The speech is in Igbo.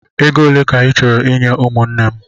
Ego ole ka ị chọrọ inye ụmụnne m?